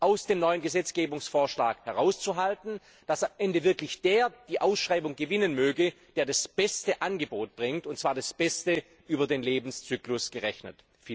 aus dem neuen Gesetzgebungsvorschlag herauszuhalten, dass am Ende wirklich der die Ausschreibung gewinnen möge, der das beste Angebot vorlegt, und zwar das beste über den Lebenszyklus gerechnet.